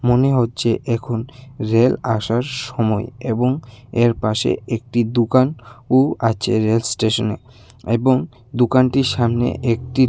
মনে হচ্ছে এখন রেল আসার সময় এবং এর পাশে একটি দোকান ও আছে রেল স্টেশনে এবং দোকানটির সামনে একটি--